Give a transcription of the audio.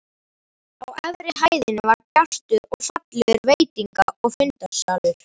Á efri hæðinni var bjartur og fallegur veitinga- og fundasalur.